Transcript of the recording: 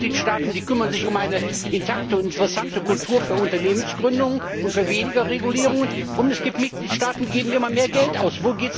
Es gibt Mitgliedstaaten, die kümmern sich um eine intakte und interessante Kultur für Unternehmensgründungen und für weniger Regulierungen, und es gibt Mitgliedstaaten, die geben immer mehr Geld aus.